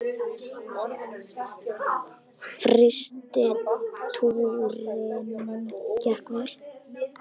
Fyrsti túrinn gekk vel.